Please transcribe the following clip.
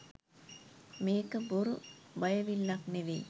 මේක බොරු බයවිල්ලක් නෙවෙයි